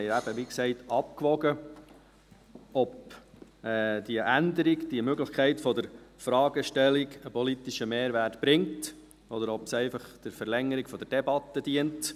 Wir haben eben, wie gesagt, abgewogen, ob diese Änderung, die Möglichkeit der Fragestellung, einen politischen Mehrwert bringt, oder ob sie einfach der Verlängerung der Debatte dient.